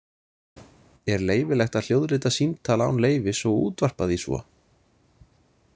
Er leyfilegt að hljóðrita símtal án leyfis og útvarpa því svo?